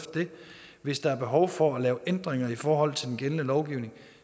hvis der er behov for at lave ændringer i forhold til den gældende lovgivning